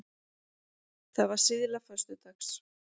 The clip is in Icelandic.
Það var síðla föstudags.